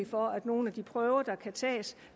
for at nogle af de prøver der kan tages